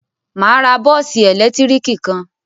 Mà á ra bọ́ọ́sì ẹ̀lẹ́tíríkì kan.